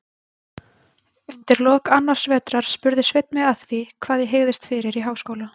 Undir lok annars vetrar spurði Sveinn mig að því, hvað ég hygðist fyrir í háskóla.